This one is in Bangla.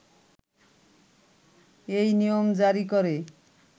এই নিয়ম জারী করে